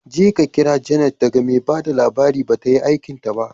Jeka kira Janet daga mai ba da labari, ba ta yi aikinta ba.